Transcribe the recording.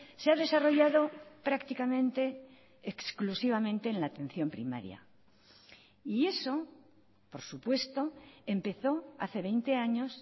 se ha desarrollado prácticamente exclusivamente en la atención primaria y eso por supuesto empezó hace veinte años